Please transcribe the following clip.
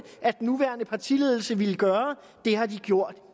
at den nuværende partiledelse ville gøre det har de gjort